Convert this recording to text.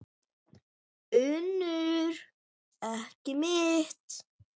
UNNUR: Ekki mitt.